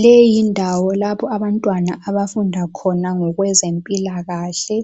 Leyi yindawo lapho abantwana abafunda khona ngokwezempilakahle